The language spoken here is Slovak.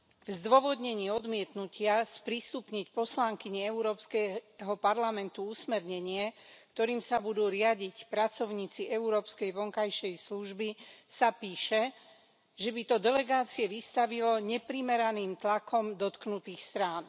V zdôvodnení odmietnutia sprístupniť poslankyni Európskeho parlamentu usmernenie, ktorým sa budú riadiť pracovníci európskej vonkajšej služby, sa píše, že by to delegácie vystavilo neprimeraným tlakom dotknutých strán.